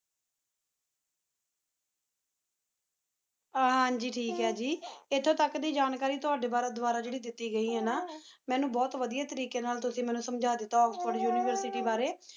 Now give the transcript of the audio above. ਹਨ ਜੀ ਥੇਕ ਹੈਂ ਜੀ ਏਥੁਨ ਤਕ ਜਨਰੈ ਤ੍ਯ੍ਵਾਡੀ ਵੇਦ੍ਵਾਰਾ ਦੇਤੀ ਗਈ ਹੈਂ ਨਾ ਮੀਨੁ ਬੁਹਤ ਵਾਦੇਯਾ ਤਾਰੀਕੀ ਨਾਲ ਮੀਨੁ ਤੁਸੁ ਸਮਜਾ ਦੇਤਾ ਏਕ੍ਸ੍ਫੋੜੇ ਉਨਿਵੇਸ੍ਰੋਰੀ ਡੀ ਬਰੀ